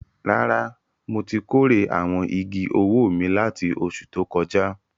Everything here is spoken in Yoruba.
Rárá, mo ti kórè àwọn igi owó mi láti oṣù tó kọjá.